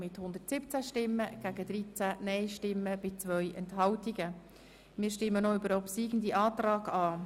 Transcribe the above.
Wir stimmen nun noch über den obsiegenden Antrag ab.